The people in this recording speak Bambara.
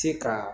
Se ka